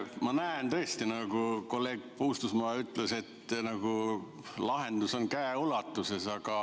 Ma näen tõesti, nagu kolleeg Puustusmaa ütles, et lahendus on käeulatuses.